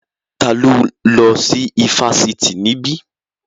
Ta ló lọ sí ifásitì níbí?